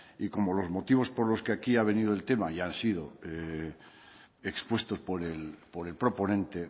y como los motivos por los que aquí ha venido el tema ya han sido expuestos por el proponente